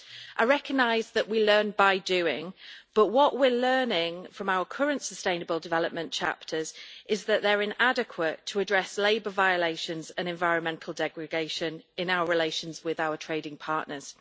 I recognise that we learn by doing, but what we are learning from our current sustainable development chapters is that they are inadequate to address labour violations and environmental degradation in our relations with our trading partners.